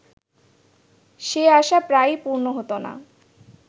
সে আশা প্রায়ই পূর্ণ হত না